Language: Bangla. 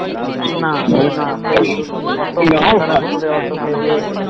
না না সেই অতো মন করে অতো ভেবে